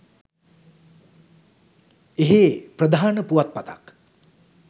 එහේ ප්‍රධාන පුවත් පතක්